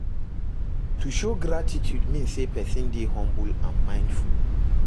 To de show gratitude mean say persin de humble and mindful